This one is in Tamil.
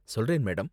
சொல்றேன், மேடம்.